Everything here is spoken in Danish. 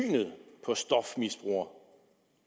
på stofmisbrugere